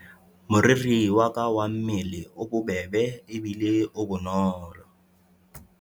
Moriri wa ka wa mmele o bobebe ebile o bonolo.